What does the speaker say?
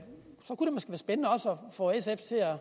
få sf til at